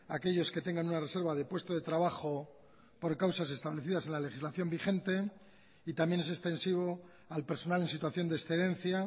aquellos que tengan una reserva de puesto de trabajo por causas establecidas en la legislación vigente y también es extensivo al personal en situación de excedencia